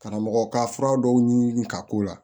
Karamɔgɔw ka fura dɔw ɲimi ka k'u la